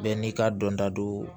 Bɛɛ n'i ka dɔnta don